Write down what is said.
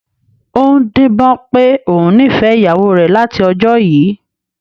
Ó ń díbọ́n pé òun nífẹ̀ẹ́ ìyàwó rẹ̀ láti ọjọ́ yìí